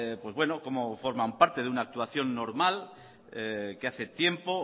cómo forman parte de una actuación normal que hace tiempo